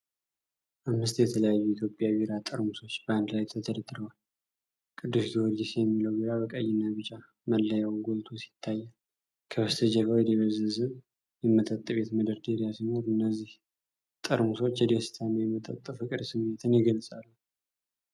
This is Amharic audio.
አምስት የተለያዩ የኢትዮጵያ ቢራ ጠርሙሶች በአንድ ላይ ተደርድረዋል። ቅዱስ ጊዮርጊስ የሚለው ቢራ በቀይና ቢጫ መለያው ጎልቶ ይታያል። ከበስተጀርባው የደበዘዘ የመጠጥ ቤት መደርደሪያ ሲኖር፣ እነዚህ ጠርሙሶች የደስታና የመጠጥ ፍቅር ስሜትን ይገልጻሉ።